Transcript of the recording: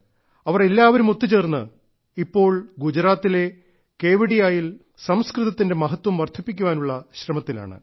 അവർ എല്ലാവരും ഒത്തുചേർന്ന് ഇപ്പോൾ ഗുജറാത്തിലെ കേവഡിയായിൽ സംസ്കൃതത്തിന്റെ മഹത്വം വർദ്ധിപ്പിക്കാനുള്ള ശ്രമത്തിലാണ്